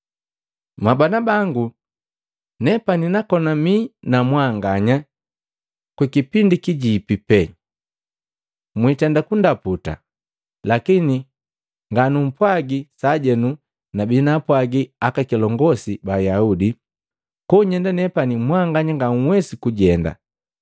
Mwabana bangu, nepani nakona mii na mwanganya kwa muda nzipi pee. Mwitenda kundaputa, lakini ganupwaji sajenu nabii naapwagi aka kilongosi ba Ayaudi, ‘Konyenda nepani mwanganya nga nhwesi kujenda!’